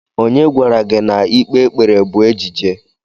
Onye gwara gị na ikpe ekpere bụ ejije?